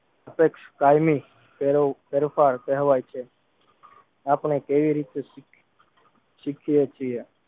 સાપેક્ષ કાયમી ફેરવ ફેરફાર કહેવાય છે આપણે કેવી રીતે શીખી શીખીયે છીએ